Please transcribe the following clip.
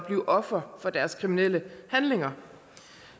blevet ofre for deres kriminelle handlinger